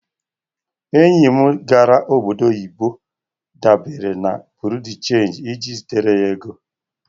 Enyi m gara obodo oyibo dabere na Buro de chanji iji zitere ego.